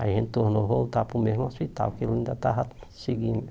Aí a gente tornou voltar para o mesmo hospital, que ele ainda estava seguindo.